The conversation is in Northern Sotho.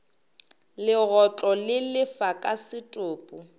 legotlo le lefa ka setopo